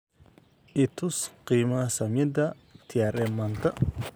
i tus qiimaha saamiyada trm maanta